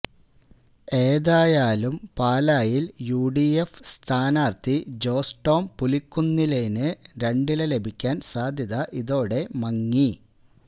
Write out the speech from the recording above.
ഏതായാലും പാലായില് യുഡിഎഫ് സ്ഥാനാര്ത്ഥി ജോസ് ടോം പുലിക്കുന്നേലിന് രണ്ടില ലഭിക്കാന് സാധ്യത ഇതോടെ മങ്ങി